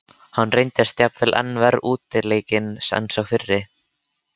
Hann reyndist jafnvel enn verr útleikinn en sá fyrri.